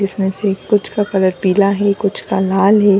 इसमें से कुछ का कलर पीला है कुछ का लाल है।